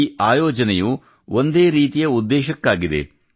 ಈ ಆಯೋಜನೆಯು ಒಂದೇ ರೀತಿಯ ಉದ್ದೇಶಕ್ಕಾಗಿದೆ